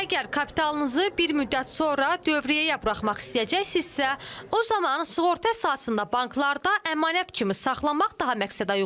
Əgər kapitalınızı bir müddət sonra dövriyyəyə buraxmaq istəyəcəksinizsə, o zaman sığorta əsasında banklarda əmanət kimi saxlamaq daha məqsədəuyğundur.